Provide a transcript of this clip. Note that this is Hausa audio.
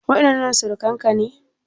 Waɗannan surukan ka ne?